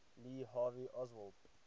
lee harvey oswald